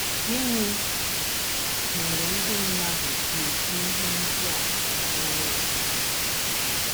Gịnị mere ndị mmadụ ji ekwu ihe ndị a banyere m?